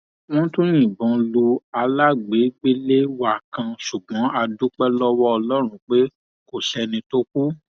wọn tún yìnbọn lu alábàágbélé wa kan ṣùgbọn a dúpẹ lọwọ ọlọrun pé kò sẹni tó kù